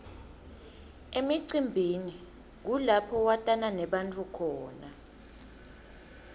emcimbini kulapho watana nebantfu khona